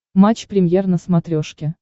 матч премьер на смотрешке